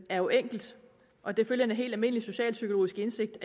er jo enkelt og det følger en helt almindelig socialpsykologisk indsigt